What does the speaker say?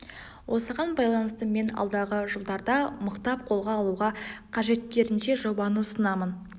осыған байланысты мен алдағы жылдарда мықтап қолға алуға қажеттерінше жобаны ұсынамын